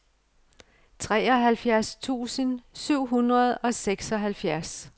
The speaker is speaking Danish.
treoghalvfjerds tusind syv hundrede og seksoghalvfjerds